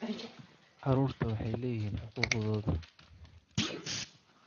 Carruurtu waxay leeyihiin xuquuqdooda.